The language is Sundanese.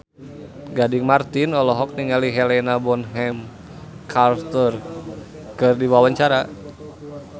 Gading Marten olohok ningali Helena Bonham Carter keur diwawancara